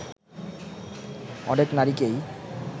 অনেক নারীকেই